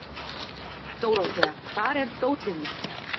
Dórothea, hvar er dótið mitt?